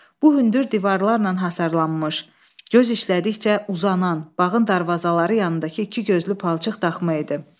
Bu hündür divarlarla hasarlanmış, göz işlədikcə uzanan bağın darvazaları yanındakı ikigözlü palçıq daxma idi.